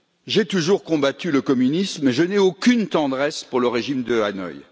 J'ai toujours combattu le communisme et je n'ai aucune tendresse pour le régime de Hanoï.